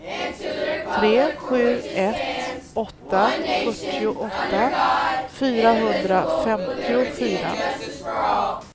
tre sju ett åtta fyrtioåtta fyrahundrafemtiofyra